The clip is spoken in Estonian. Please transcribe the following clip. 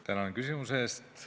Tänan küsimuse eest!